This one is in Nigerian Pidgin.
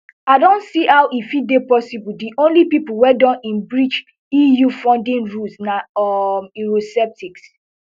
i don see how e fit dey possible di only pipo wey don in breach eu funding rules na um eurosceptics